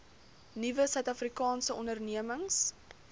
nuwe suidafrikaanse ondernemings